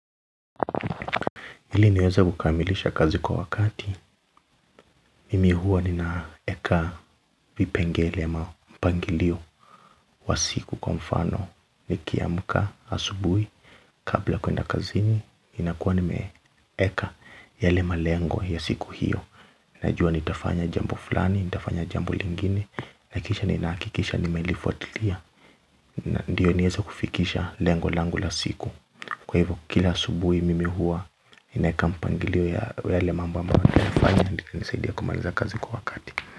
Ili niweze kukamilisha kazi kwa wakati, mimi huwa ninaeka vipengele ma mpangilio wa siku kwa mfano, nikiamka asubuhi, kabla kwenda kazini, inakuwa nime eka yale malengo ya siku hiyo najua nitafanya jambo fulani, nitafanya jambo lingine na kisha nina hakikisha nimeilifuatilia, ndio niweze kufikisha lengo langu la siku kwa hivyo kila subuhi mimi huwa ninaweka mpangilio ya yale mambo ambayo nafanya ili inisaidie kumaliza kazi kwa wakati.